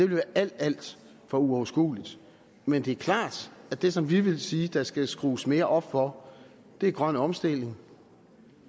være alt alt for uoverskueligt men det er klart at det som vi vil sige der skal skrues mere op for er grøn omstilling